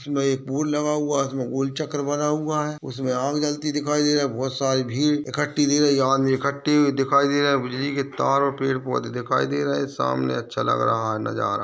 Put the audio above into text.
इसमें एक पूल लगा हुआ है इसमें गोल चक्र बना हुआ है उसमें आग जलती दिखाई दे रही है बहोत सारी भीड़ इकट्ठी दिख रही है आदमी इकट्ठे दिखाई दे रहे हैं बिजली के तार और पेड़-पोधे दिखाई दे रहे है सामने अच्छा लग रहा है नजारा।